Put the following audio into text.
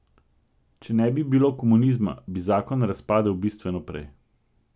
Če ne bi bilo komunizma, bi zakon razpadel bistveno prej.